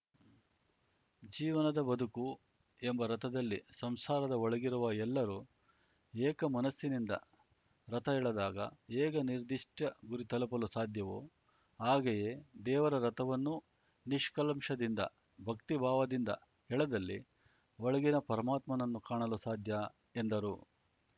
ಜೀವನದ ಬದುಕು ಎಂಬ ರಥದಲ್ಲಿ ಸಂಸಾರದ ಒಳಗಿರುವ ಎಲ್ಲರು ಏಕ ಮನಸ್ಸಿನಿಂದ ರಥ ಎಳೆದಾಗ ಹೇಗೆ ನಿರ್ದಿಷ್ಟಗುರಿ ತಲುಪಲು ಸಾಧ್ಯವೋ ಹಾಗೆಯೇ ದೇವರ ರಥವನ್ನು ನಿಷ್ಕಲ್ಮಶದಿಂದ ಭಕ್ತಿಭಾವದಿಂದ ಎಳೆದಲ್ಲಿ ಒಳಗಿನ ಪರಮಾತ್ಮನನ್ನು ಕಾಣಲು ಸಾಧ್ಯ ಎಂದರು